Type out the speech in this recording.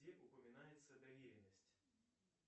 где упоминается доверенность